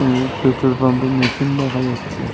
এবং পেট্রোল পাম্পের মেশিন দেখা যাচ্ছে।